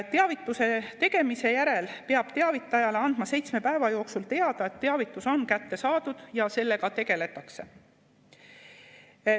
Teavituse tegemise järel peab teavitajale andma seitsme päeva jooksul teada, et teavitus on kätte saadud ja sellega tegeletakse.